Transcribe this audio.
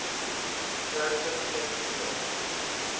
sterker klem geplaas